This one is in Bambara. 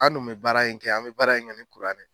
An dun bɛ baara in kɛ , an bɛ baara in kɛ ni kuranɛ